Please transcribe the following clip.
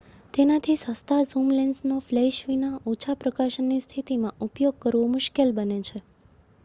તેનાથી સસ્તા ઝૂમ લેન્સનો ફ્લેશ વિના ઓછા પ્રકાશની સ્થિતિમાં ઉપયોગ કરવો મુશ્કેલ બને છે